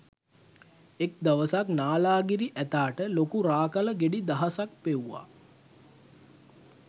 එක දවසක් නාලාගිරි ඇතාට ලොකු රා කළ ගෙඩි දහසයක් පෙව්වා